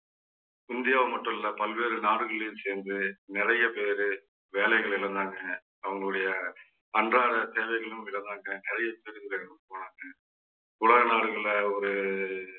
இந்தியாவை மட்டும் இல்லை பல்வேறு நாடுகளிலேயும் சேர்ந்து நிறைய பேரு வேலைகளை இழந்தாங்க. அவங்களுடைய அன்றாட தேவைகளையும் இழந்தாங்க. நிறைய பேரு இறந்து போனாங்க உலக நாடுகள்ல ஒரு